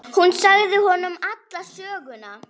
Hún sagði honum alla söguna.